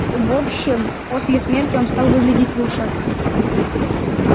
в общем после смерти он стал выглядеть лучше